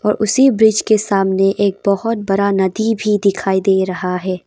उसी ब्रिज के सामने एक बहुत बड़ा नदी भी दिखाई दे रहा है।